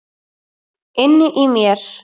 Inni í mér.